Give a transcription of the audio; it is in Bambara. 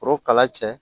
Foro kala cɛ